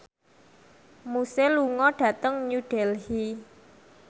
Muse lunga dhateng New Delhi